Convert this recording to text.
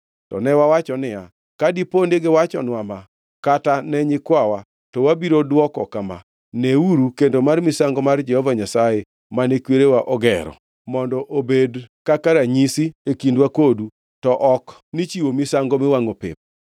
“To ne wawacho niya, ‘Ka dipo ni giwachonwa ma, kata ne nyikwawa to wabiro dwoko kama: Neuru kendo mar misango mar Jehova Nyasaye, mane kwerewa ogero, mondo obed kaka ranyisi e kindwa kodu, to ok ni chiwo misango miwangʼo pep.’